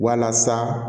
Walasa